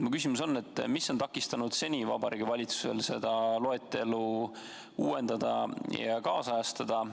Mu küsimus on: mis on takistanud Vabariigi Valitsusel seni seda loetelu uuendada ja ajakohastada?